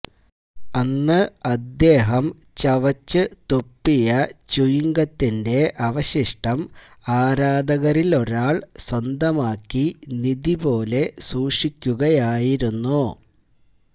അന്ന് അദ്ദേഹം ചവച്ച് തുപ്പിയ ച്യൂയിംഗത്തിന്റെ അവശിഷ്ടം ആരാധകരിലൊരാള് സ്വന്തമാക്കി നിധി പോലെ സൂക്ഷിക്കുകയായിരുന്നു